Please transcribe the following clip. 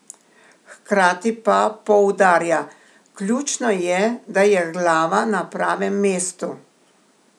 Hkrati pa poudarja: 'Ključno je, da je glava na pravem mestu.